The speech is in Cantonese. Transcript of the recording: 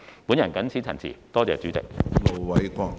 我謹此陳辭，多謝主席。